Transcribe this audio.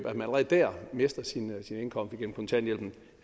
allerede der mister sin indkomst igennem kontanthjælpen